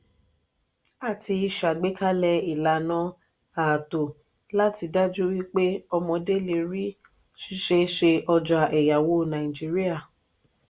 àti ṣàgbékalẹ̀ ìlànà ààtò láti daju wípé omodé le rí siseese ọjà èyáwó nàìjíríà.